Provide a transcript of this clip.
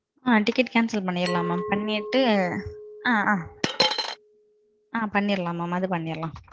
ஆ. ticket cancel பண்ணிரலாம் mam. பண்ணிட்டு, ஆ. பண்ணிரலாம் mam அது பண்ணிரலாம்.